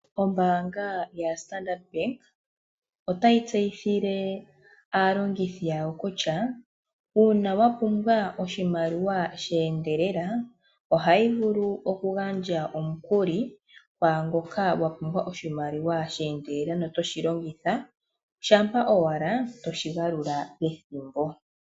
Oombaanga yaStandard bank otayi tseyithile aalongithi yawo kutya uuna ya pumbwa oshimaliwa sheendelela ohayi vulu oku gandja omukuli kwaangoka a pumbwa okushi longitha meendelelo, shampa owala toshi galula pethimbo.